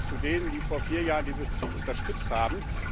Ich gehöre zu denen, die vor vier Jahren dieses Ziel unterstützt haben.